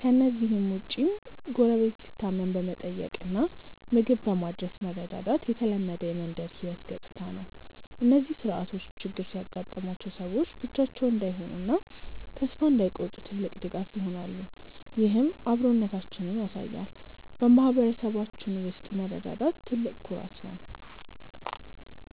ከእነዚህ ውጭም ጎረቤት ሲታመም በመጠየቅና ምግብ በማድረስ መረዳዳት የተለመደ የመንደር ህይወት ገጽታ ነው። እነዚህ ስርዓቶች ችግር ያጋጠማቸው ሰዎች ብቻቸውን እንዳይሆኑና ተስፋ እንዳይቆርጡ ትልቅ ድጋፍ ይሆናሉ፤ ይህም አብሮነታችንን ያሳያል። በማህበረሰባችን ውስጥ መረዳዳት ትልቅ ኩራት ነው።